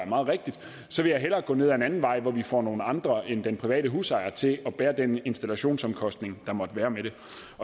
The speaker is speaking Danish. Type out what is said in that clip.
meget rigtigt så vil jeg hellere gå ned ad en anden vej hvor vi får nogle andre end den private husejer til at bære den installationsomkostning der måtte være med det